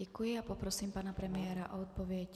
Děkuji a poprosím pana premiéra o odpověď.